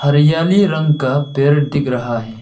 हरियाली रंग का पेड़ दिख रहा है।